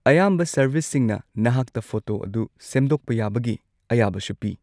ꯑꯌꯥꯝꯕ ꯁꯔꯚꯤꯁꯁꯤꯡꯅ ꯅꯍꯥꯛꯇ ꯐꯣꯇꯣ ꯑꯗꯨ ꯁꯦꯝꯗꯣꯛꯄ ꯌꯥꯕꯒꯤ ꯑꯌꯥꯕꯁꯨ ꯄꯤ꯫